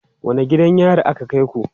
Wane gidan yari aka kai ku?